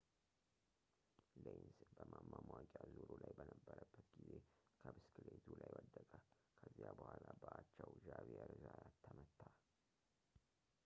ሌንዝ በማማሟቂያ ዙሩ ላይ በነበረበት ጊዜ ከብስክሌቱ ላይ ወደቀ ከዚያ በኋላ በአቻው ዣቪየር ዛያት ተመታ